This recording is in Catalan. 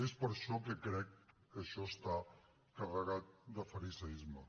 és per això que crec que això està carregat de fariseisme